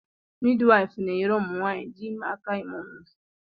Midwife na-enyere ụmụ nwanyị dị ime aka ịmụ nwa.